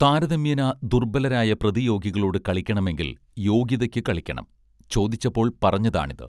താരതമ്യേന ദുർബലരായ പ്രതിയോഗികളോട് കളിക്കണമെങ്കിൽ യോഗ്യതയ്ക്ക് കളിക്കണം ചോദിച്ചപ്പോൾ പറഞ്ഞതാണിത്